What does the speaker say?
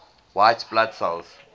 white blood cells